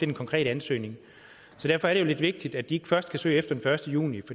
den konkrete ansøgning derfor er det lidt vigtigt at de ikke først skal søge efter den første juni